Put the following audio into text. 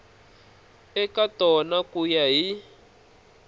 eka tona ku ya hi